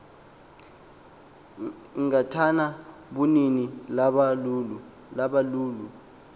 igatya bunini lobalulo